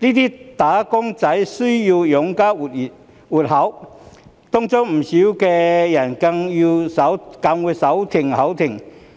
這些"打工仔"需要養家活口，當中不少人更會"手停口停"。